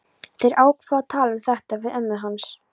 Þeir ákváðu að tala um þetta við ömmu hans.